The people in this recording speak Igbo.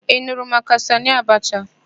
Ị nụrụ maka Sanị Abacha?